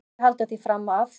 Mætti ekki halda því fram að.